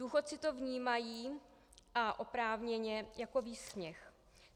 Důchodci to vnímají, a oprávněně, jako výsměch.